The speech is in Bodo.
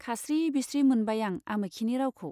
खास्रि बिस्रि मोनबाय आं आमोखिनि रावखौ।